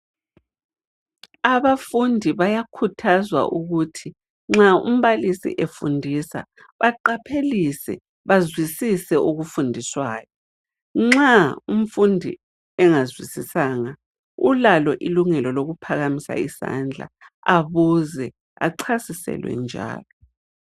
Abafundi bayakhuthazwa ukuthi nxa umbalisi efundisa baqaphelise, bazwisise okufundiswayo. Nxa umfundi engazwisisanga ulalo ilungelo lokuphakamisa isandla abuze achasiselwe njalo.